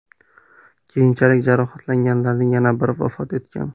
Keyinchalik jarohatlanganlarning yana biri vafot etgan .